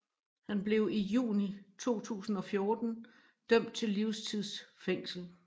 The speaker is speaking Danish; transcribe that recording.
Han blev i juni 2014 dømt til livstids fængsel